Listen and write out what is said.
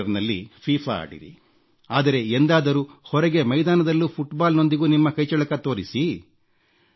ಕಂಪ್ಯೂಟರ್ನಲ್ಲಿ ಫೀಫಾ ಆಡಿರಿ ಆದರೆ ಎಂದಾದರೂ ಹೊರಗೆ ಮೈದಾನದಲ್ಲೂ ಫುಟ್ಬಾಲ್ನೊಂದಿಗೂ ನಿಮ್ಮ ಕೈಚಳಕ ತೋರಿಸಿ